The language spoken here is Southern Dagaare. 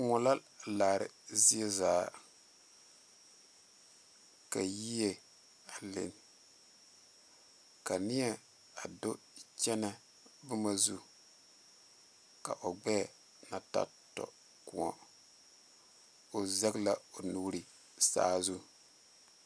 Moɔ la laare zie zaa Ka yie a lini ka ney a do kyɛnɛ boma zu ka o gbɛɛ na ta tɔ koɔ o zɛge la o nuuri saazu.